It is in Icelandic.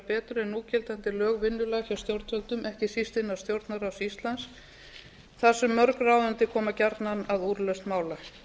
betur en núgildandi lög vinnulag hjá stjórnvöldum ekki síst innan stjórnarráðs íslands þar sem mörg ráðandi koma gjarnan að úrlausn mála